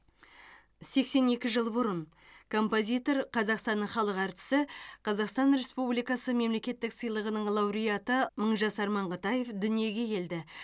сексен екі жыл бұрын композитор қазақстанның халық әртісі қазақстан республикасы мемлекеттік сыйлығының лауреаты мыңжасар маңғытаев дүниеге келді